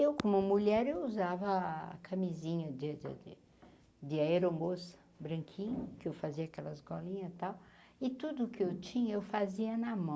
Eu, como mulher, eu usava a camisinha de de de de aeromoça branquinha, que eu fazia aquelas golinhas tal e tudo o que eu tinha, eu fazia na mão.